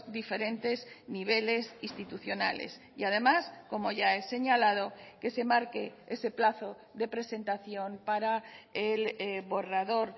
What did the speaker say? diferentes niveles institucionales y además como ya he señalado que se marque ese plazo de presentación para el borrador